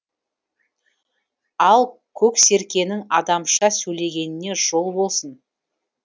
ал көксеркенің адамша сөйлегеніне жол болсын